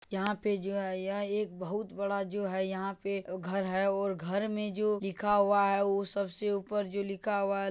यहां पे जो है यह एक बहुत बड़ा जो है यहां पे घर है और घर में जो लिखा हुआ है वो सबसे ऊपर जो लिखा हुआ है --